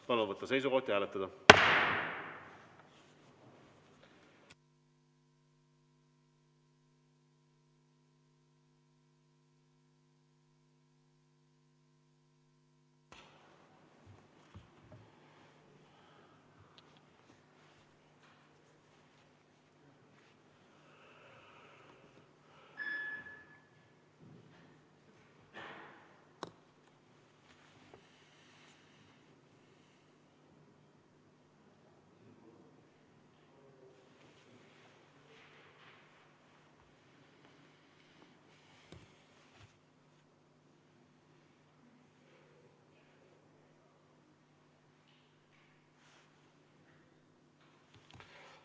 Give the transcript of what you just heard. Palun võtta seisukoht ja hääletada!